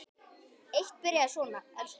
Eitt byrjaði svona: Elsku mamma!